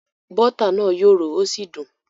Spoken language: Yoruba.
Bọ́tà náà yòrò ó sì dùn